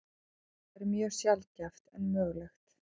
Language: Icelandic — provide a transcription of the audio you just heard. Þetta er mjög sjaldgæft en mögulegt.